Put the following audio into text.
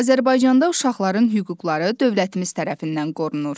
Azərbaycanda uşaqların hüquqları dövlətimiz tərəfindən qorunur.